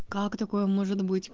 как такое может быть